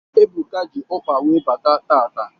Ebuka ji ọkpa wee bata taata.